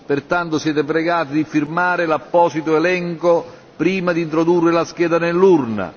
pertanto siete pregati di firmare l'apposito elenco prima di introdurre la scheda nell'urna.